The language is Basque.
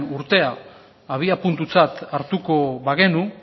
urtean abiapuntutzat hartuko bagenu